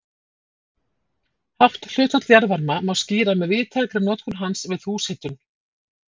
Hátt hlutfall jarðvarma má skýra með víðtækri notkun hans við húshitun.